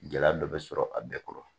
Gɛlɛya dɔ bɛ sɔrɔ a bɛɛ kɔrɔ